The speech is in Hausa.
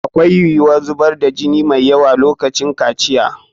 Akwai yiwuwar zubar da jini mai yawa a lokacin kaciya.